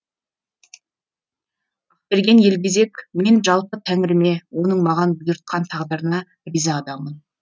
ақберен елгезек мен жалпы тәңіріме оның маған бұйыртқан тағдырына риза адаммын